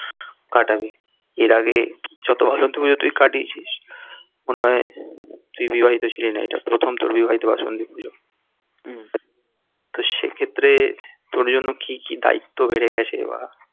কাটাবি এর আগে যত বাসন্তী পুজো তুই কাটিয়েছিস মনে হয় তুই বিবাহিত ছিলিস না এটা তোর প্রথম বিবাহিত বাসন্তী পুজো তো সে ক্ষেত্রে তোর জন্য কি কি দায়িত্ব বেড়ে গেছে bara